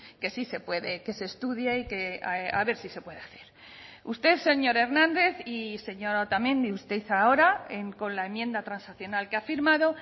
que sí se puede que se estudie y que a ver si se puede hacer usted señor hernández y señora otamendi usted ahora con la enmienda transaccional que ha firmado